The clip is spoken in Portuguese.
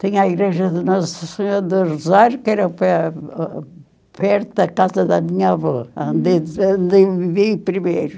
Tinha a igreja de Nossa Senhora do Rosário, que era perto ãh perto da casa da minha avó, onde eu vivi primeiro.